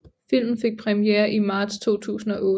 Filmen fik premiere i marts 2008